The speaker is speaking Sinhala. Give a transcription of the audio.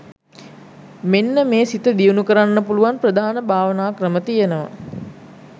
මෙන්න මේ සිත දියුණු කරන්න පුළුවන් ප්‍රධාන භාවනා ක්‍රම තියෙනවා.